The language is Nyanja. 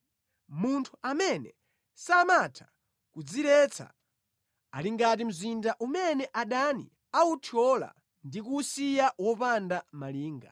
Munthu amene samatha kudziretsa ali ngati mzinda umene adani awuthyola ndi kuwusiya wopanda malinga.